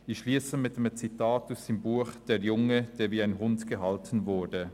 Ich schliesse mit einem Zitat aus seinem Buch «Der Junge, der wie ein Hund gehalten wurde»: